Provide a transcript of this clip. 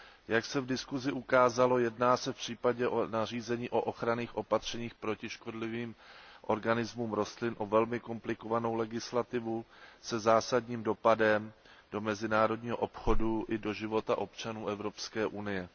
Jak se v diskuzi ukázalo, jedná se v případě nařízení o ochranných opatřeních proti škodlivým organismům rostlin o velmi komplikovanou legislativu se zásadním dopadem na mezinárodní obchod i na život občanů Evropské unie.